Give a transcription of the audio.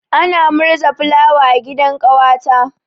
Ana murza fulawa a gidan ƙawata.